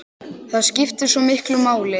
Það skiptir svo miklu máli.